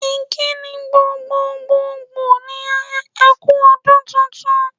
Ìkíni gbgogbogbò ni e kú ọdún tuntun.